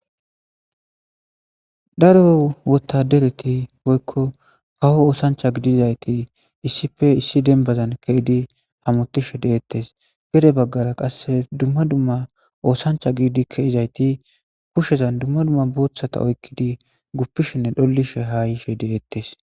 daro wotadereti woykko kawo oosancha gidizayti issife issi denbazan keydi hamotishe deettes gere baggala qasse dumma dumma oosancha giidi keizayti pushshezan dumma dumma boothata oykkidi guppishinne dhollishe haa yishe deettes